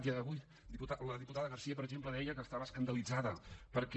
i avui la diputada garcía per exemple deia que estava escandalitzada perquè